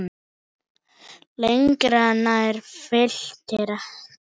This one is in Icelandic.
Lengra nær Fylkir ekki.